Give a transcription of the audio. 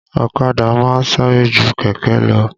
Ọ̀kadà máa ń sáré ju kẹ̀kẹ́ lọ